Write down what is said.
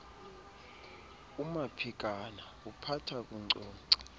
umaphikana uphatha kunkcunkca